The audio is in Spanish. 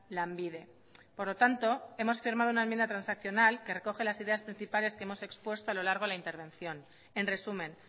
lanbide por lo tanto hemos firmado una enmienda transaccional que recoge las ideas principales que hemos expuesto a lo largo de la intervención en resumen